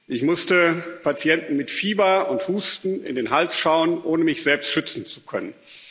Ich musste Patienten mit Fieber und Husten in den Hals schauen, ohne mich selbst schützen zu können.